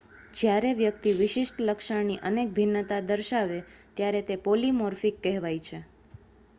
જ્યારે વ્યક્તિ વિશિષ્ટ લક્ષણની અનેક ભિન્નતા દર્શાવે ત્યારે તે પૉલિમૉર્ફિક કહેવાય છે